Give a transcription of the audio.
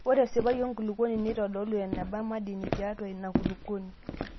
Ore esipai enkulukuoni neitodolu eneba madini tiatua ina kulukuoni.